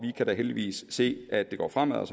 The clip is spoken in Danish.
kan da heldigvis se at det går fremad